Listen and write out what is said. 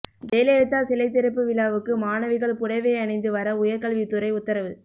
ஜெயலலிதா சிலை திறப்பு விழாவுக்கு மாணவிகள் புடவை அணிந்து வர உயர் கல்வித்துறை உத்தரவு